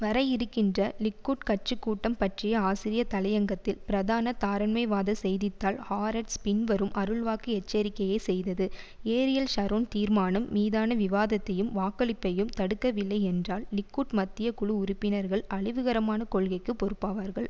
வர இருக்கின்ற லிக்குட் கட்சி கூட்டம் பற்றிய ஆசிரிய தலையங்கத்தில் பிரதான தாரண்மைவாத செய்தி தாள் ஹாரட்ஸ் பின்வரும் அருள்வாக்கு எச்சரிக்கையை செய்தது ஏரியல் ஷரோன் தீர்மானம் மீதான விவாதத்தையும் வாக்களிப்பையும் தடுக்கவில்லை என்றால் லிக்குட் மத்திய குழு உறுப்பினர்கள் அழிவுகரமான கொள்கைக்கு பொறுப்பாவார்கள்